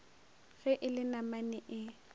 ge e le namane e